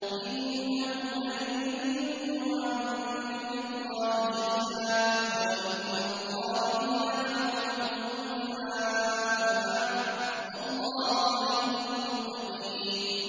إِنَّهُمْ لَن يُغْنُوا عَنكَ مِنَ اللَّهِ شَيْئًا ۚ وَإِنَّ الظَّالِمِينَ بَعْضُهُمْ أَوْلِيَاءُ بَعْضٍ ۖ وَاللَّهُ وَلِيُّ الْمُتَّقِينَ